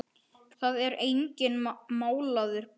Það er enginn málaður blár.